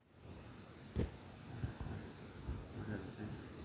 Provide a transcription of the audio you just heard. kakua irbulabol le moyian e type 2F